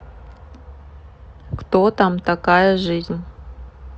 кто там такая жизнь